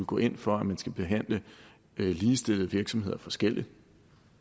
går ind for at man skal behandle ligestillede virksomheder forskelligt